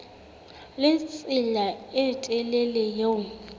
le tsela e telele eo